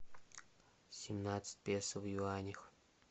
семнадцать песо в юанях